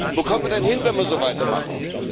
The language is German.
Wo kommen wir denn hin, wenn wir so weitermachen?